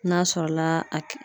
N'a sɔrɔla a ke